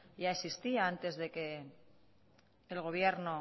ya existía antes de que el gobierno